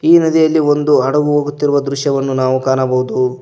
ಈ ನದಿಯಲ್ಲಿ ಒಂದು ಹಡಗು ಹೋಗುತ್ತಿರುವ ದೃಶ್ಯವನ್ನು ನಾವು ಕಾಣಬಹುದು.